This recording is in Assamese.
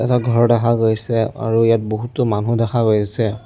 ঘৰ দেখা গৈছে আৰু ইয়াত বহুতো মানুহ দেখা গৈছে ।